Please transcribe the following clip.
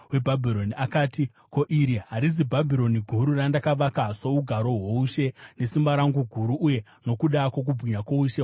akati, “Ko, iri harizi Bhabhironi guru randakavaka sougaro hwoushe, nesimba rangu guru uye nokuda kwokubwinya kwoushe hwangu here?”